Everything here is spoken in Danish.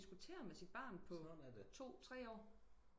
Og diskuterer med sit barn på to tre år